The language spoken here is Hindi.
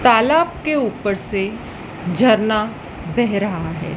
तालाब के ऊपर से झरना बह रहा है।